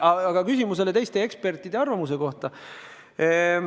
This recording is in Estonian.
Aga nüüd küsimuse teisest poolest ehk ekspertide arvamusest.